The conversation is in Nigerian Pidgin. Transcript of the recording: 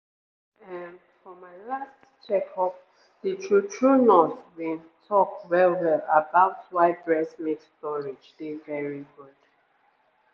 ehm for my last checkup the true-true nurse been talk well-well about why breast milk storage dey very good